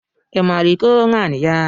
I maara iko nwaanyị?